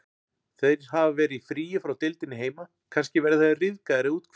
Þeir hafa verið í fríi frá deildinni heima, kannski verða þeir ryðgaðir eða úthvíldir.